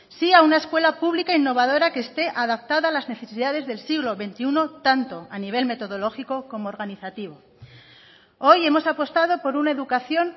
sí a una escuela pública innovadora que esté adaptada a las necesidades del siglo veintiuno tanto a nivel metodológico como organizativo hoy hemos apostado por una educación